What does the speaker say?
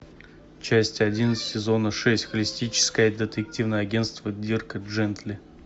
часть один сезона шесть холистическое детективное агентство дирка джентли